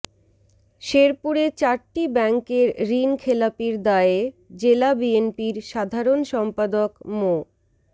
শেরপুরে চারটি ব্যাংকের ঋণখেলাপির দায়ে জেলা বিএনপির সাধারণ সম্পাদক মো